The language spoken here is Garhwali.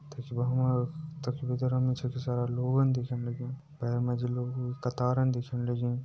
तखि तखि सारा लोगन दिख्याना लाग्यां बहर मजी लोगों की क़तारन दिख्यान लगीं।